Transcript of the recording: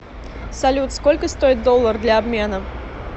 салют сколько стоит доллар для обмена